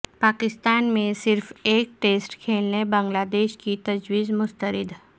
پاکستان میں صرف ایک ٹسٹ کھیلنے بنگلہ دیش کی تجویز مسترد